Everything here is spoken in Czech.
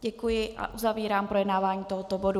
Děkuji a uzavírám projednávání tohoto bodu.